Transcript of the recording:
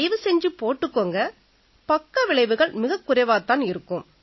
தயவு செஞ்சு போட்டுக்குங்க பக்கவிளைவுகள் மிகக் குறைவாத் தான் இருக்கும்